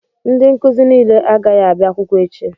Ndị nkụzi nile agaghị abịa akwụkwọ echi